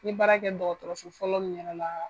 N ye baara kɛ dɔgɔtɔrɔso fɔlɔ min yɛrɛ la.